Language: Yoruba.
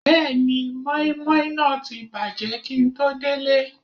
Bẹ́ẹ̀ni, mọ́ímọ́í náà ti bàjẹ́ kíi n tó délé